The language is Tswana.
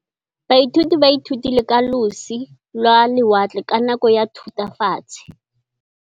Baithuti ba ithutile ka losi lwa lewatle ka nako ya Thutafatshe.